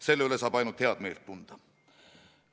Selle üle saab ainult head meelt tunda.